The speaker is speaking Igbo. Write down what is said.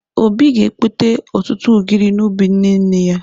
Obi ga-ekpote ọtụtụ ụgịrị n'ubi nne nne ya.